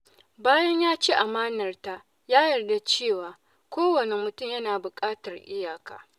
Bayan ya ci amanarta, ya yarda cewa kowane mutum na buƙatar iyaka.